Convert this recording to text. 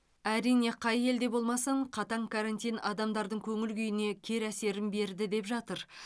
әрине қай елде болмасын қатаң карантин адамдардың көңіл күйіне кері әсерін берді деп жатыр